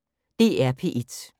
DR P1